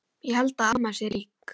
Ég held að amma sé rík.